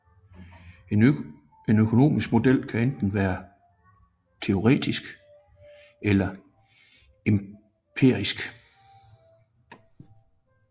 En økonomisk model kan enten være teoretisk eller empirisk